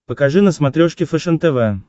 покажи на смотрешке фэшен тв